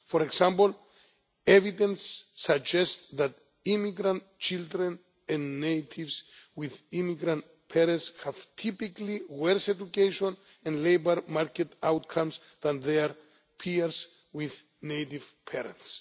For example, evidence suggests that immigrant children and natives with immigrant parents typically have worse education and labour market outcomes than their peers with native parents.